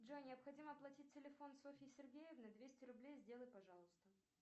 джой необходимо оплатить телефон софьи сергеевны двести рублей сделай пожалуйста